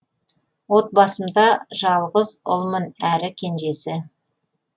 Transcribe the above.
отбасымда жалғыз ұлмын әрі кенжесі